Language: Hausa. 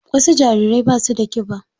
Wasu jarirai ba su da ƙiba.